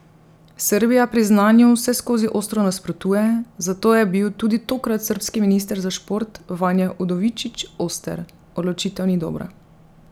Srbija priznanju vseskozi ostro nasprotuje, zato je bil tudi tokrat srbski minister za šport Vanja Udovičić oster: 'Odločitev ni dobra.